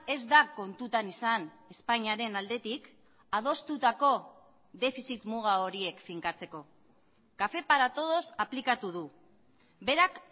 ez da kontutan izan espainiaren aldetik adostutako defizit muga horiek finkatzeko café para todos aplikatu du berak